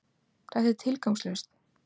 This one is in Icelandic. Þetta er tilgangslaust!